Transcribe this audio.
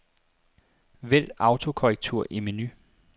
Vælg autokorrektur i menu.